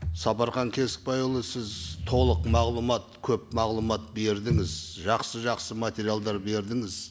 сапархан кесікбайұлы сіз толық мағлұмат көп мағлұмат бердіңіз жақсы жақсы материалдар бердіңіз